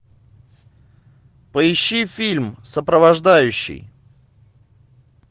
поищи фильм сопровождающий